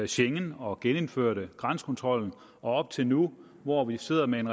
schengen og genindførte grænsekontrollen og op til nu hvor vi sidder med en